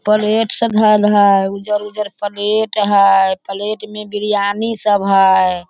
Plate सब धेएल हैं उज्जर-उज्जर प्लेट हैं प्लेट में बिरयानी सब हैं।